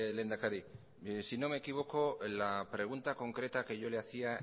lehendakari si no me equivoco la pregunta concreta que yo le hacía